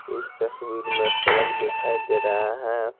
इस तस्वीर में सड़क दिखाई दे रहा है।